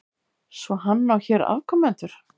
Svo hann á hér afkomendur?